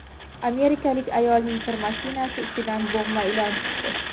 Amerikalik ayolning kir mashinasi ichidan bo‘g‘ma ilon chiqdi.